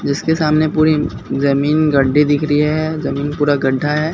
जिसके सामने पूरी जमीन गड्डी दिख रही है जमीन पूरा गड्ढा है।